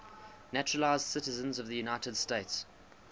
naturalized citizens of the united states